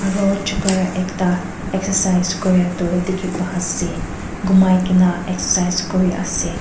aro chokora ekta excercise kurae toh dikhipaiase gomai kaena excercise kuriase.